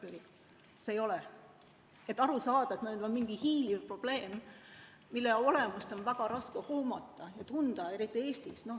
Sellest on raske aru saada, see on mingi hiiliv probleem, mille olemust on väga raske hoomata ja seda on tunda eriti Eestis.